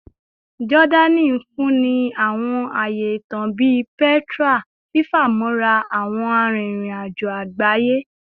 Jordani nfunni awọn aaye itan bii Petra, fifamọra awọn aririn ajo agbaye